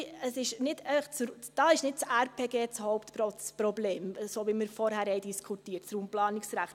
Dort ist nicht das RPG das Hauptproblem, so wie wir es vorher diskutiert haben.